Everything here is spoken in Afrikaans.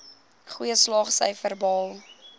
goeie slaagsyfers behaal